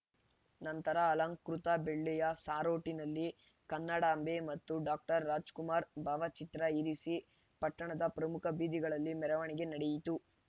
ನಂತರ ಅಲಂಕೃತ ಬೆಳ್ಳಿಯ ಸಾರೋಟಿನಲ್ಲಿ ಕನ್ನಡಾಂಬೆ ಮತ್ತು ಡಾಕ್ಟರ್ ರಾಜ್‌ಕುಮಾರ್‌ ಭಾವಚಿತ್ರ ಇರಿಸಿ ಪಟ್ಟಣದ ಪ್ರಮುಖ ಬೀದಿಗಳಲ್ಲಿ ಮೆರವಣಿಗೆ ನಡೆಯಿತು